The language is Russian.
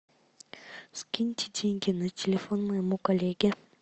скиньте деньги на телефон моему коллеге